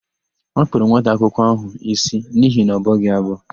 A kpụrụ nwata akwụkwọ áhụ̀ ísí n'ihi na ọ bọghị ya abọ.